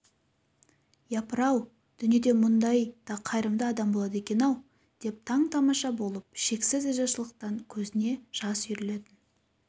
япырау дүниеде мұндай да қайырымды адам болады екен-ау деп таң-тамаша болып шексіз ризашылықтан көзіне ыстық жас үйірілетін